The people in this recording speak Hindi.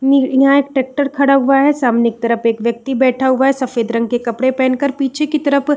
यहां एक ट्रेक्टर खड़ा हुआ हैं सामने की तरफ एक व्यक्ति बैठा हुआ हैं सफ़ेद रंग के कपडे पेहन कर पीछे की तरफ --